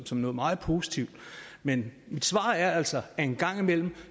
som noget meget positivt men mit svar er altså at en gang imellem